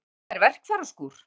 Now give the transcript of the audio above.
En þetta er verkfæraskúr.